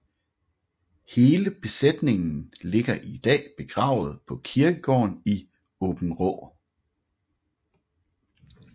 Hele besætningen ligger i dag begravet på kirkegården i Åbenrå